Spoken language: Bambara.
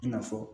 I na fɔ